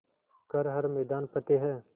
कर हर मैदान फ़तेह